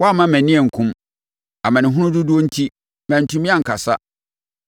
Woamma mʼani ankum; amanehunu dodoɔ enti, mantumi ankasa.